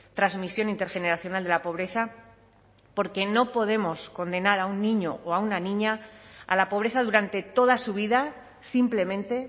transmisión intergeneracional de la pobreza porque no podemos condenar a un niño o a una niña a la pobreza durante toda su vida simplemente